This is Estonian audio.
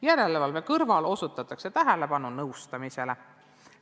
Järelevalve kõrval osutatakse tähelepanu nõustamisele.